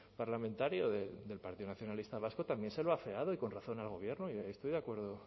parlamentario del partido nacionalista vasco también se lo ha afeado y con razón al gobierno estoy de acuerdo